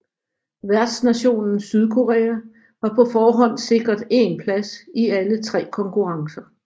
Værtsnationen Sydkorea var på forhånd sikret én plads i alle tre konkurrencer